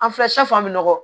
An filɛ an bɛ nɔgɔ